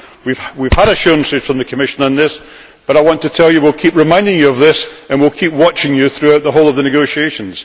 We have had assurances from the Commission on this but I want to tell you that we will keep reminding you of this and we will keep watching you throughout the whole of the negotiations.